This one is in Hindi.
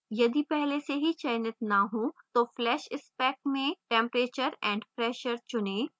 यदि पहले से चयनित न हो तो flash spec में temperature and pressure tp चुनें